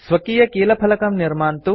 स्वकीयकीलफलकं keyboard निर्मान्तु